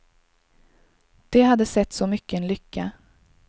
Det hade sett så mycken lycka.